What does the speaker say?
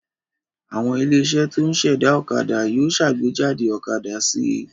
Àwọn ilé-iṣẹ́ tó ń ṣẹ̀dá ọ̀kadà yóò ṣàgbéjáde ọ̀kadà sí i.